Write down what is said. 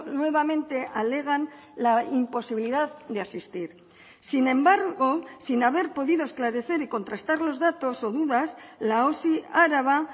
nuevamente alegan la imposibilidad de asistir sin embargo sin haber podido esclarecer y contrastar los datos o dudas la osi araba